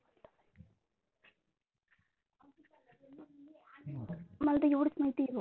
मला तर एवढेच माहिती आहे.